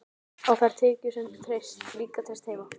Á þær tekjur var líka treyst heima.